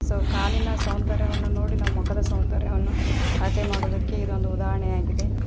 ನಾವ್ ಕಾಲಿನ ಸೌಂದರ್ಯವನ್ನು ನೋಡಿ ನಾವ್ ಮುಖದ ಸೌಂದರ್ಯವನ್ನು ಅಳತೆ ಮಾಡೋದಕ್ಕೆ ಇದೊಂದು ಉದಾಹರಣೆಯಾಗಿದೆ.